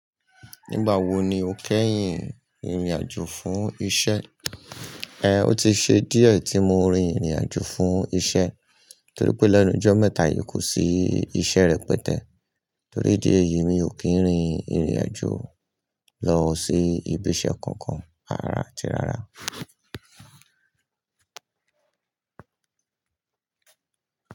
Nígbà wo ni o kẹ́yìn rìnrìn àjò fún iṣẹ́? Ẹ̀, ó ti ṣe díẹ̀ tí mo rin ìrìn àjò fún iṣẹ́ torí pé lẹ́nu jọ́ mẹ́ta yìí kò sí iṣẹ́ rẹpẹtẹ. Torí ìdí èyí mi ò kí ń rin ìrìn àjò lọ sí ibi iṣẹ́ kankan, rárá àti rárá.